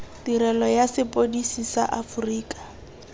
tirelo ya sepodisi sa aforika